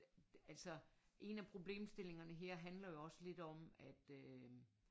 Altså en af problemstillingerne her handler jo også lidt om at øh